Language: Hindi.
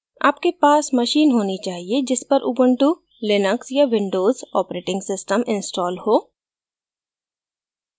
आपके पास machine होनी चाहिए जिस पर उबंटु लिनक्स या windows operating system installed हो